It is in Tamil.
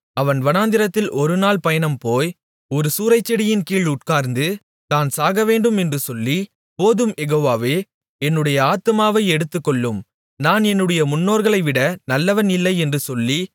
அவன் வனாந்திரத்தில் ஒருநாள் பயணம் போய் ஒரு சூரைச்செடியின் கீழ் உட்கார்ந்து தான் சாகவேண்டும் என்று சொல்லி போதும் யெகோவாவே என்னுடைய ஆத்துமாவை எடுத்துக்கொள்ளும் நான் என்னுடைய முன்னோர்களைவிட நல்லவன் இல்லை என்று சொல்லி